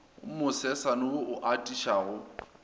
mo sesane wo o atišago